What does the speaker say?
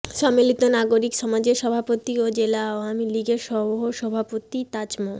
সম্মিলিত নাগরিক সমাজের সভাপতি ও জেলা আওয়ামী লীগের সহসভাপতি তাজ মো